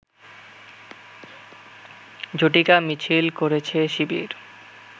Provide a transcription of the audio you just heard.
ঝটিকা মিছিল করেছে শিবির